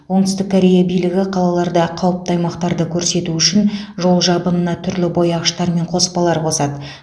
оңтүстік корея билігі қалаларда қауіпті аймақтарды көрсету үшін жол жабынына түрлі бояғыштар мен қоспалар қосады